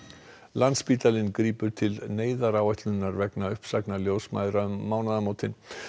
landspítalinn grípur til neyðaráætlunar vegna uppsagna ljósmæðra um mánaðamótin